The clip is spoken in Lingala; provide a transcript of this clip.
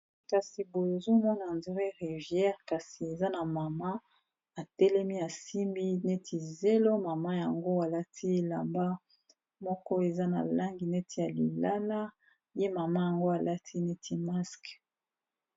kasi boyozomona andré rivière kasi eza na mama atelemi asimbi neti zelo mama yango alati elamba moko eza na langi neti ya lilala ye mama yango alati neti maske